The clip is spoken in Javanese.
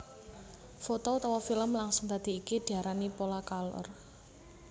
Foto utawa filem langsung dadi iki diarani Polacolor